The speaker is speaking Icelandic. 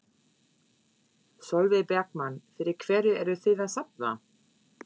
Sólveig Bergmann: Fyrir hverju eruð þið að safna?